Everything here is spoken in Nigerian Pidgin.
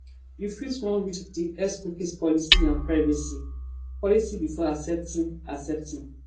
you fit wan read di xcookie policyandprivacy policybefore accepting accepting